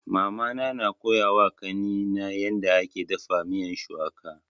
Mama na koya wa kani na yarda ake dafa miyan shuwaka